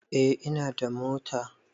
Eh ina da mota